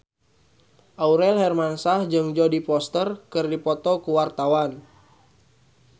Aurel Hermansyah jeung Jodie Foster keur dipoto ku wartawan